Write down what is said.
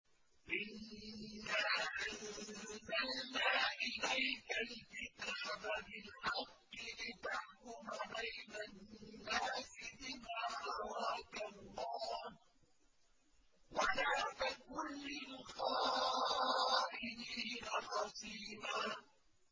إِنَّا أَنزَلْنَا إِلَيْكَ الْكِتَابَ بِالْحَقِّ لِتَحْكُمَ بَيْنَ النَّاسِ بِمَا أَرَاكَ اللَّهُ ۚ وَلَا تَكُن لِّلْخَائِنِينَ خَصِيمًا